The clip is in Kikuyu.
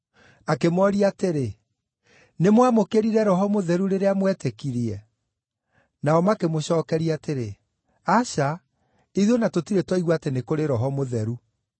Akĩmooria atĩrĩ, “Nĩmwamũkĩrire Roho Mũtheru rĩrĩa mwetĩkirie?” Nao makĩmũcookeria atĩrĩ, “Aca, ithuĩ o na tũtirĩ twaigua atĩ nĩ kũrĩ Roho Mũtheru.”